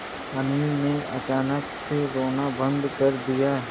अनिल ने अचानक से रोना बंद कर दिया